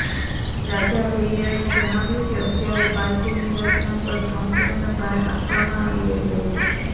રાજા ભૈયાએ જણાવ્યું કે અત્યારે પાર્ટીની રચના પર સંપૂર્ણ ભાર આપવામાં આવી રહ્યો છે